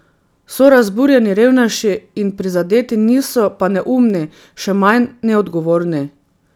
So razburjeni, revnejši in prizadeti, niso pa neumni, še manj neodgovorni.